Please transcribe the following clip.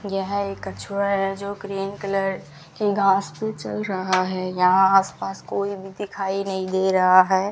यह एक कछुआ है जो क्रीम कलर की घास पे चल रहा है यहां आस पास कोई भी दिखाई नहीं दे रहा है।